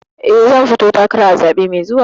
Eh, zan fito takara a zaɓe mai zuwa.